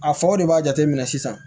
A faw de b'a jateminɛ sisan